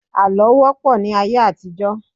Àlọ́ wọ́ pọ̀ ní ayé àtijọ́.